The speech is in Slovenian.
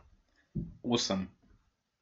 Osem.